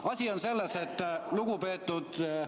Asi on selles, et lugupeetud ...